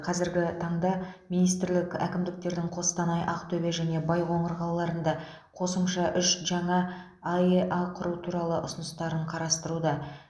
қазіргі таңда министрлік әкімдіктердің қостанай ақтөбе және байқоңыр қалаларында қосымша үш жаңа аэа құру туралы ұсыныстарын қарастыруда